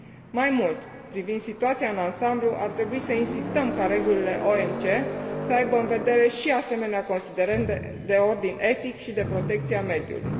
Mai mult, privind situația în ansamblu, ar trebui să insistăm ca regulile OMC să aibă în vedere și asemenea considerente de ordin etic și de protecția mediului.